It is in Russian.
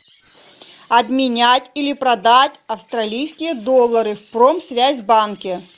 обменять или продать австралийские доллары в промсвязьбанке